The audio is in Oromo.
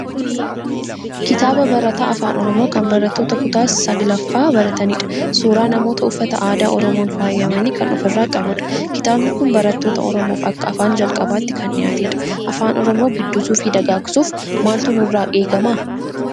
Kitaaba barataa Afaan Oromoo kan barattoota kutaa sal-gaffaa barataniidha. Suuraa namoota uffata aadaa Oromoon faayamanii kan ofirraa qabudha. Kitaabni kun barattoota Oromoof akka afaan jalqabaatti kan dhiyaatedha. Afaan Oromoo guddisuu fi dagaagsuuf maaltu nurraa eegama?